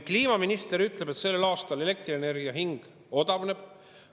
Kliimaminister ütleb, et sellel aastal elektrienergia hind odavneb.